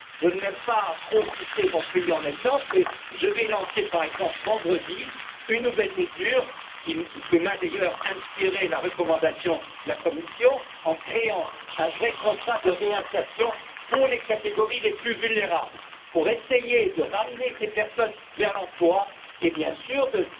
Je n'aime pas trop citer mon pays en exemple, mais je vais lancer vendredi une nouvelle mesure, qui m'a d'ailleurs été suggérée par la recommandation de la Commission, en créant un vrai contrat de réinsertion pour les catégories les plus vulnérables, pour essayer de ramener ces personnes vers l'emploi et, bien sûr, accorder